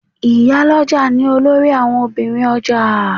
Ìyálọ́jà ni olórí àwon Obìnrin ọjà